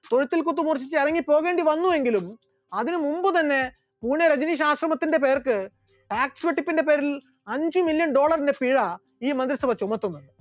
തൊഴുത്തിൽ കുത്ത് മൂർജിച്ച് ഇറങ്ങിപോകേണ്ടി വന്നു എങ്കിലും അതിന് മുൻപ് തന്നെ പൂനെ രജനീഷ് ആശ്രമത്തിന്റെ പേർക്ക് tax വെട്ടിപ്പിന്റെ പേരിൽ അഞ്ചു million dollar ന്റെ പിഴ ഈ മന്ത്രിസഭ ചുമത്തുന്നു.